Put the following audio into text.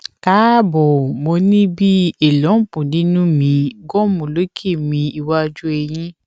kaabo mo ni bi a lump ninu mi gum loke mi iwaju eyin